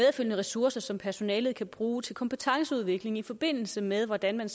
ressourcer som personalet kan bruge til kompetenceudvikling i forbindelse med hvordan man